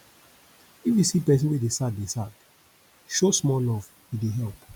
if you see pesin wey dey sad dey sad show small love e dey help